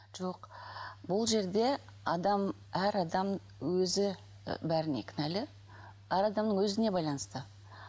жоқ ол жерде адам әр адам өзі і бәріне кінәлі әр адамның өзіне байланысты